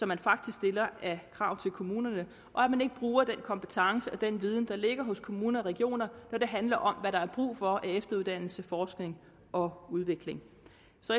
man faktisk stiller af krav til kommunerne og at man ikke bruger den kompetence og den viden der ligger hos kommuner og regioner når det handler om hvad der er brug for af efteruddannelse forskning og udvikling